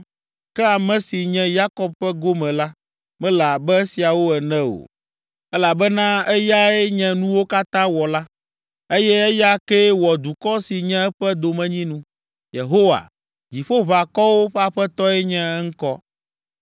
Ke ame si nye Yakob ƒe gome la mele abe esiawo ene o, elabena eyae nye nuwo katã wɔla eye eya kee wɔ dukɔ si nye eƒe domenyinu, Yehowa, Dziƒoʋakɔwo ƒe Aƒetɔe nye eŋkɔ.